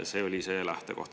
See oli see lähtekoht.